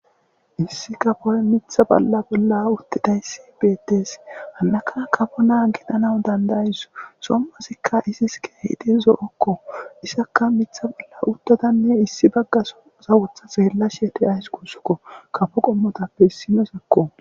Issi kafoy mitha bolla bolla uttidayssi beettees hannaka kafo naa gidhana dandayis sommasikka izis keehidi zo'okko isakka mitha bolla uttadanne issi baggaso sawotha seella sheete ays kuussukko kafo qommotappe issinosakko.